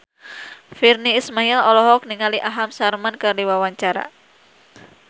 Virnie Ismail olohok ningali Aham Sharma keur diwawancara